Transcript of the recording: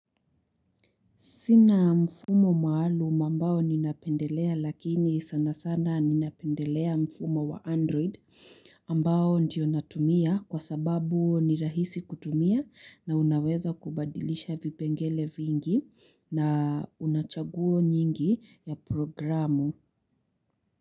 Sina mfumo maalum ambao ninapendelea lakini sana sana ninapendelea mfumo wa android ambao ndiyo natumia kwa sababu ni rahisi kutumia na unaweza kubadilisha vipengele vingi na unachaguo nyingi ya programu.